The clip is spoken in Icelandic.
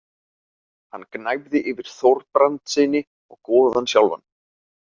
Hann gnæfði yfir Þorbrandssyni og goðann sjálfan.